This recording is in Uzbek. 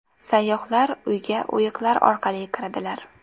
Sayyohlar uyga o‘yiqlar orqali kiradilar.